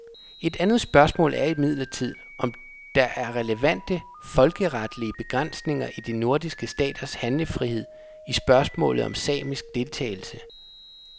Et andet spørgsmål er imidlertid om der er relevante, folkeretlige begrænsninger i de nordiske staters handlefrihed i spørgsmålet om samisk deltagelse.